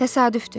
Təsadüfdü.